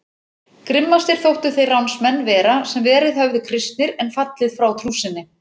Grimmastir þóttu þeir ránsmenn vera sem verið höfðu kristnir en fallið frá trú sinni.